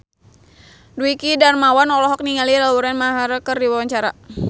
Dwiki Darmawan olohok ningali Lauren Maher keur diwawancara